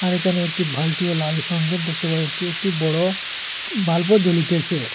আর এখানে একটি ভালটিও লাল রঙের দেখতে পাওয়া যাচ্ছে একটি বড়ো বাল্বও জ্বলিতেছে।